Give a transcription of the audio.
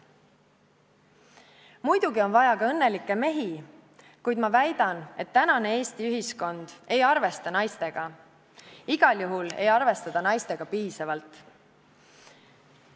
Muidugi on vaja ka õnnelikke mehi, kuid ma väidan, et tänane Eesti ühiskond ei arvesta naistega – igal juhul ei arvesta ta naistega piisavalt.